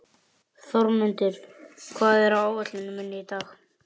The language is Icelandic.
Þórmundur, hvað er á áætluninni minni í dag?